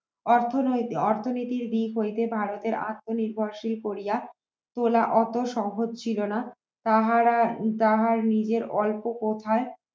অর্থনৈতিক অর্থনৈতিক দিক হইতে ভারতের প্রাথমিক বর্ষে পরিয়া তোলা অত সহজ ছিল না তাহারা তাহার নিজের অল্প কথায়